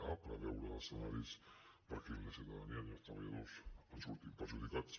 a preveure els escenaris perquè ni la ciutadania ni els treballadors en surtin perjudicats